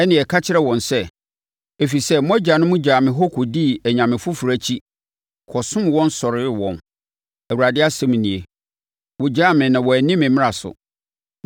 ɛnneɛ ka kyerɛ wɔn sɛ, ‘Ɛfiri sɛ mo agyanom gyaa me hɔ kɔdii anyame foforɔ akyi, kɔsom wɔn sɔree wɔn, Awurade asɛm nie. Wogyaa me na wɔanni me mmara so.